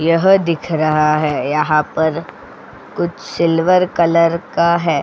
यह दिख रहा है यहां पर कुछ सिल्वर कलर का है.